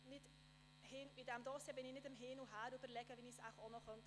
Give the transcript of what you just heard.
Bei diesem Dossier überlege ich nicht hin und her, wie ich es auch noch tun könnte.